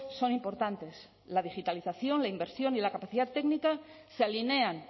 son importantes la digitalización la inversión y la capacidad técnica se alinean